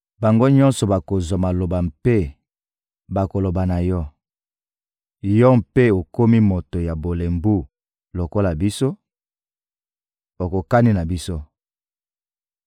Bango nyonso bakozwa maloba mpe bakoloba na yo: ‹Yo mpe okomi moto ya bolembu lokola biso, okokani na biso!›